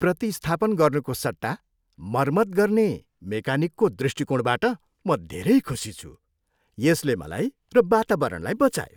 प्रतिस्थापन गर्नुको सट्टा मर्मत गर्ने मेकानिकको दृष्टिकोणबाट म धेरै खुशी छु। यसले मलाई र वातावरणलाई बचायो।